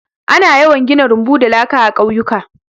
Ana yawan gina rumbu da laka a ƙauyuka.